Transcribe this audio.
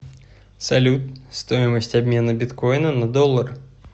салют стоимость обмена биткоина на доллар